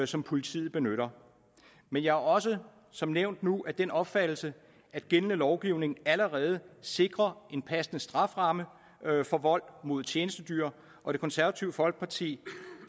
som politiet benytter men jeg er også som nævnt nu af den opfattelse at gældende lovgivning allerede sikrer en passende strafferamme for vold mod tjenestedyr og det konservative folkeparti